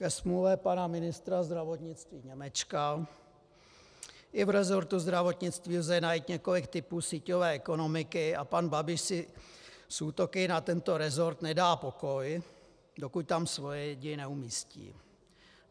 Ke smůle pana ministra zdravotnictví Němečka i v resortu zdravotnictví lze najít několik typů síťové ekonomiky a pan Babiš si s útoky na tento resort nedá pokoj, dokud tam svoje lidi neumístí.